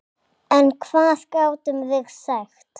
En hvað gátum við sagt?